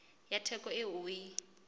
ya theko eo o e